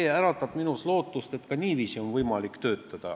See äratab minus lootust, et ka niiviisi on võimalik töötada.